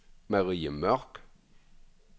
Marie Mørch